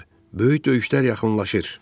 Böyük döyüşlər yaxınlaşır.